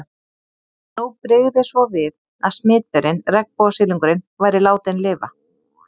En nú brygði svo við að smitberinn, regnbogasilungurinn, væri látinn lifa.